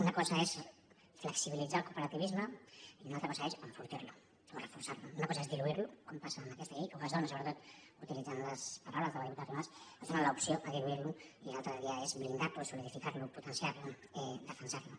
una cosa és flexibilitzar el cooperativisme i una altra cosa és enfortir lo o reforçar lo una cosa és diluir lo com passa amb aquesta llei o que es dóna sobretot utilitzant les paraules de la diputada arrimadas l’opció a diluir lo i l’altra via és blindar lo solidificar lo potenciar lo defensar lo